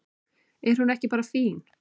Er hún ekki bara fín?